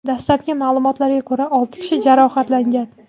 Dastlabki ma’lumotlarga ko‘ra, olti kishi jarohatlangan.